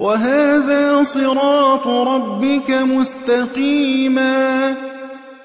وَهَٰذَا صِرَاطُ رَبِّكَ مُسْتَقِيمًا ۗ